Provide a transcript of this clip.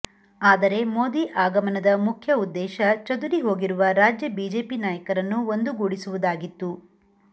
ಆದರೆ ಮೋದಿ ಆಗಮನದ ಮುಖ್ಯ ಉದ್ದೇಶ ಚದುರಿ ಹೋಗಿರುವ ರಾಜ್ಯ ಬಿಜೆಪಿ ನಾಯಕರನ್ನು ಒಂದುಗೂಡಿಸುವುದಾಗಿತ್ತು